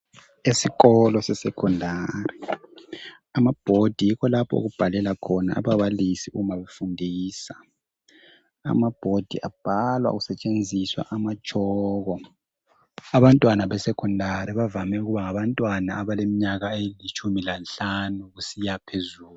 Esikolo se Secondary, ama board yikho lapho okubhalela ababalisi uma befundisa. Amaboard abhalwa kusetshenziswa amachalko. Abantwana be Secondary bavame ukuba ngabantwana abaleminyaka elitshumi lanhlanu kusiya phezulu.